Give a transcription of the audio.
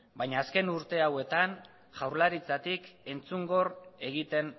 baina azken urte hauetan jaurlaritzatik entzungor egiten